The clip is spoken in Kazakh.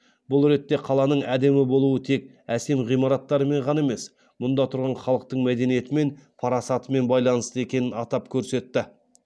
бұл ретте қаланың әдемі болуы тек әсем ғимараттарымен ғана емес мұнда тұрған халықтың мәдениетімен парасатымен байланысты екенін атап көрсетті